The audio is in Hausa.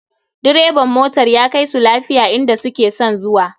Direban motar ya kaisu lafiya inda suke son zuwa